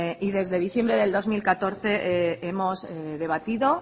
y desde diciembre de dos mil catorce hemos debatido